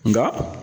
Nka